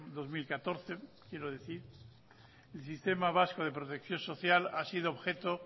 dos mil catorce quiero decir el sistema vasco de protección social ha sido objeto